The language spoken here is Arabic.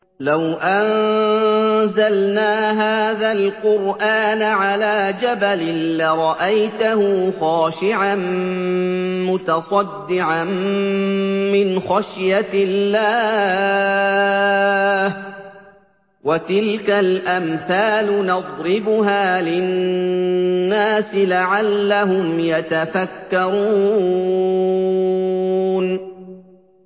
لَوْ أَنزَلْنَا هَٰذَا الْقُرْآنَ عَلَىٰ جَبَلٍ لَّرَأَيْتَهُ خَاشِعًا مُّتَصَدِّعًا مِّنْ خَشْيَةِ اللَّهِ ۚ وَتِلْكَ الْأَمْثَالُ نَضْرِبُهَا لِلنَّاسِ لَعَلَّهُمْ يَتَفَكَّرُونَ